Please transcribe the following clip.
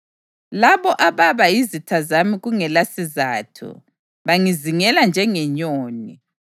Labo ababa yizitha zami kungelasizatho, bangizingela njengenyoni.